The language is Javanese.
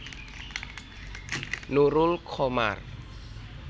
Nurul Qomar